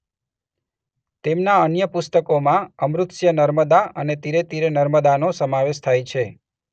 તેમના અન્ય પુસ્તકોમાં અમૃતસ્ય નર્મદા અને તીરે તીરે નર્મદાનો સમાવેશ થાય છે.